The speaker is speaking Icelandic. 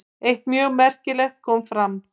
Eitt mjög merkilegt kom fram.